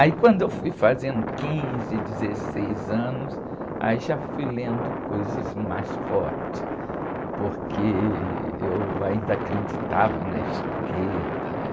Aí, quando eu fui fazendo quinze, dezesseis anos, já fui lendo coisas mais fortes, porque eu ainda acreditava na esquerda, né?